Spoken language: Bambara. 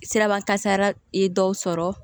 Siraba kasara ye dɔw sɔrɔ